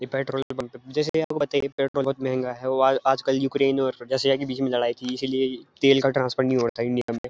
ये पेट्रोल पे जैसे ये तेल पेट्रोल बहुत महंगा है वो आ आज आज कल यूक्रेन और रसिया के बीच में लड़ाई थी इसलिए ये तेल ट्रांसफर का हो रहा था इंडिया में।